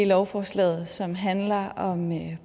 lovforslaget som handler om